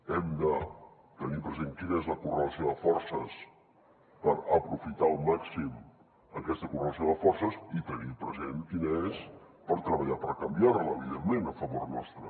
hem de tenir present quina és la correlació de forces per aprofitar al màxim aquesta correlació de forces i tenir present quina és per treballar per canviar la evidentment a favor nostre